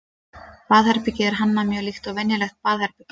baðherbergið er hannað mjög líkt og venjulegt baðherbergi